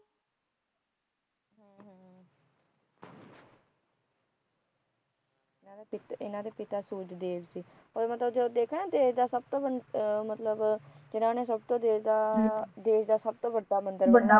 ਇਹਨਾ ਦੇ ਪਿਤਾ ਸੂਰਜ ਦੇਵ ਸੀ ਔਰ ਮਤਲਬ ਜਦੋਂ ਦੇਖਿਆ ਨਾ ਦੇਸ਼ ਦਾ ਸੱਭ ਤੋ ਮਤਲਬ ਦੇਸ਼ ਦਾ ਸੱਬ ਤੋ ਵੱਡਾ ਮੰਦਿਰ